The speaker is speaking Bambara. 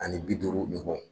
Ani bi duuru ɲɔgɔn